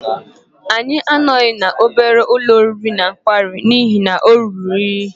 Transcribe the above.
Anyị anọghị n'obere ụlọ oriri na nkwari n'ihi na ọ ruru unyi.